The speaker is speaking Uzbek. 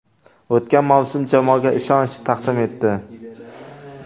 O‘tgan mavsum jamoaga ishonch taqdim etdi.